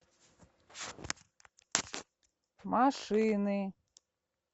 машины